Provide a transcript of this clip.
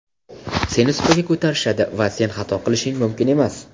seni supaga ko‘tarishadi va sen xato qilishing mumkin emas.